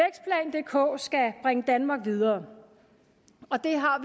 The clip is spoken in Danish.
dk skal bringe danmark videre og det har